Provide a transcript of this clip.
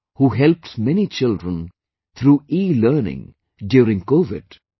, who helped many children through elearning during Covid